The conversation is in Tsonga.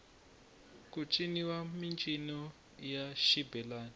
ku ciniwa mincino ya xibelani